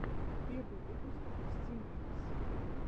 первый выпуск стимлинкс